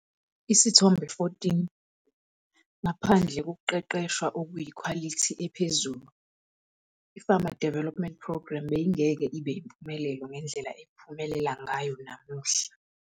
Isithombe 14- Ngaphandle kokuqeqeshwa okuyikhwalithi ephezulu, i-Farmer Development Programme beyingeke ibe yimpumelelo ngendlela ephumelela ngayo namuhla.